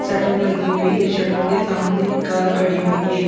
Shutter लगी हुई है शटर के सामने कार खड़ी हुई है।